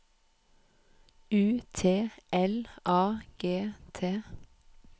U T L A G T